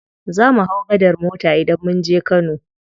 Zamu hau gadar mota idan munje kano.